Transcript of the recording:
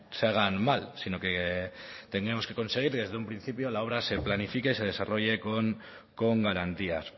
se hagan mal sino que tenemos que conseguir que desde un principio la obra se planifique y se desarrolle con garantías